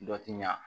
Dɔ ti ɲa